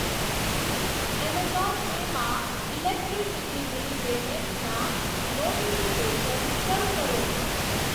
Amazon Pay માં electricity bill પેમેંટ્સના notification શરૂ કરો.